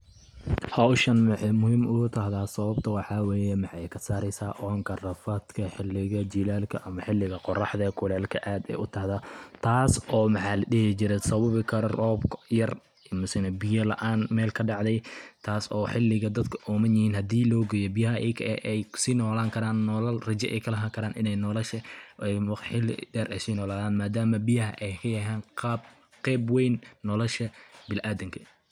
Howshan waxay muhiim ugu tahday sabata waxaa weye maxay kasareysa oonka rafadka xiliga jilalka ama xiliga qoraxda kuleelka aad u tahda taasi oo maxaa ladihi jire sababi karo roob yar misna biya laan mel kadacday taas oo xiliga dadka oomanyihin hadi loogeyo biyaha ay kusii noolan karan nolal raja ay kalahan karan in ay nolasha xili der ay si nooladan madamo biyaha ay kayahan qayb wayn nolasha biniadamka.